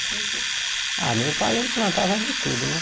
O que Ah, meu pai, ele plantava de tudo, né?